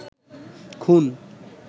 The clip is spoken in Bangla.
খুন